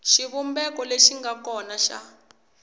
xivumbeko lexi nga kona xa